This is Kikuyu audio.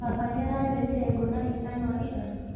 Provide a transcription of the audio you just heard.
Baba nĩaratemire ngũ na ithanwa ira?